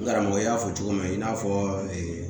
Karamɔgɔ y'a fɔ cogo min i n'a fɔ